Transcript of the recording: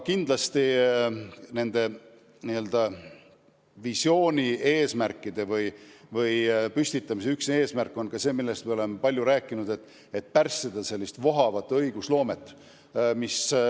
Kindlasti on visioonis toodud eesmärkide püstitamise üks eesmärk – me oleme sellest palju rääkinud – pärssida vohavat õigusloomet.